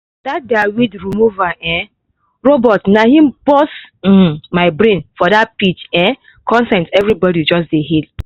that their weed-removal um robot na im burst um brain for the pitch um contest everybody just dey hail